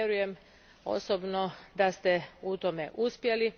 Vjerujem osobno da ste u tome uspjeli.